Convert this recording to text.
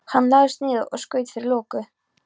Hann lagðist niður og skaut fyrir loku.